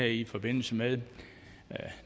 i forbindelse med at